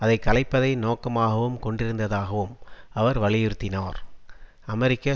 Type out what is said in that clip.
அதை கலைப்பதை நோக்கமாகவும் கொண்டிருந்ததாகவும் அவர் வலியுறுத்தினார் அமெரிக்க